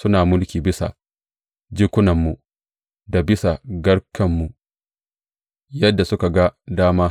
Suna mulki bisa jikunanmu, da bisa garkenmu yadda suka ga dama.